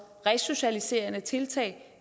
resocialiserende tiltag